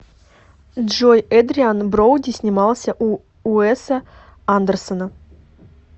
джой эдриан броуди снимался у уэса андерсона